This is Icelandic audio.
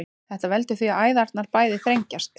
þetta veldur því að æðarnar bæði þrengjast